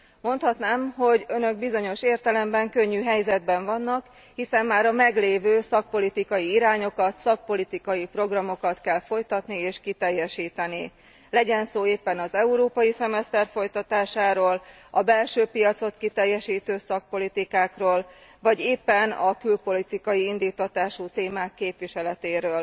Mondhatnám, hogy Önök bizonyos értelemben könnyű helyzetben vannak, hiszen már a meglévő szakpolitikai irányokat, szakpolitikai programokat kell folytatni és kiteljesíteni, legyen szó éppen az európai szemeszter folytatásáról, a belső piacot kiteljesítő szakpolitikákról, vagy éppen a külpolitikai indíttatású témák képviseletéről.